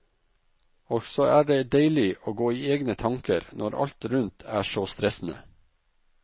Også er det deilig å gå i egne tanker når alt rundt er så stressende.